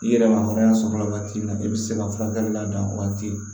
I yɛrɛ ma hɔrɔnya sɔrɔ la wagati min na i bi se ka furakɛli labɛn o wagati